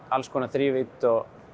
alls konar þrívídd